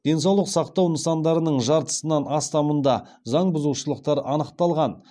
денсаулық сақтау нысандарының жартысынан астамында заң бұзушылықтар анықталған